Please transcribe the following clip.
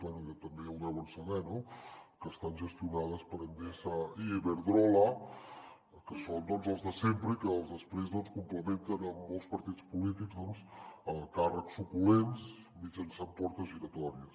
bé també ho deuen saber no que estan gestionades per endesa i iberdrola que són els de sempre i que després complementen molts partits polítics amb càrrecs suculents mitjançant portes giratòries